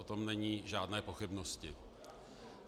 O tom nejsou žádné pochybnosti.